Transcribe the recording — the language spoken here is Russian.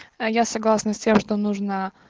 а я согласна с тем что нужно